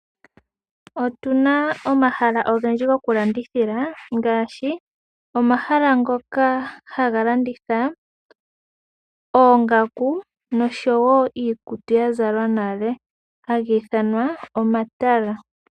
Otu na omahala ogendji gokulandithila ngaashi omahala ngoka haga landitha oongaku noshowo iikutu ya zalwa nale haga ithanwa omatala.